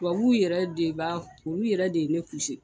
Tubabuw yɛrɛ de b'a olu yɛrɛ de ye ne